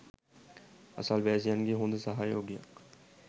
අසල්වැසියන්ගෙන් හොඳ සහයෝගයක්